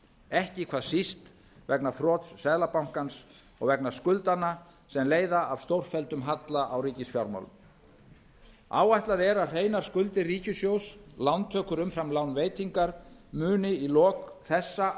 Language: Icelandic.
ekki hvað síst vegna þrots seðlabankans og vegna skuldanna sem leiða af stórfelldum halla á ríkisfjármál um áætlað er að hreinar skuldir ríkissjóðs lántökur umfram lánveitingar muni í lok þessa